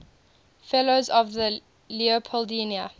fellows of the leopoldina